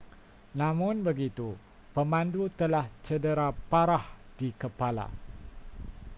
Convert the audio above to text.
namun begitu pemandu telah cedera parah di kepala